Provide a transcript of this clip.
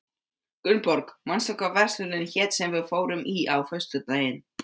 Gunnborg, manstu hvað verslunin hét sem við fórum í á föstudaginn?